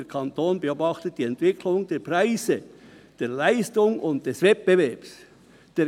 Der Kanton beobachtet die Entwicklung der Preise, der Leistungen und des Wettbewerbs […]».